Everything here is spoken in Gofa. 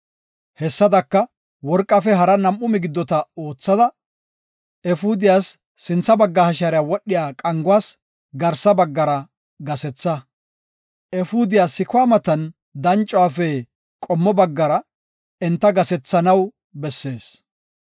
Hessadaka, worqafe hara nam7u migiddota oothada, efuudiyas sintha bagga hashiyara wodhiya qanguwas garsa baggara gasetha. Efuudiya sikuwa matan dancuwaafe qommo baggara enta gasethanaw bessees.